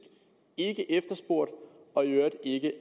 ikke efterspurgt og i øvrigt ikke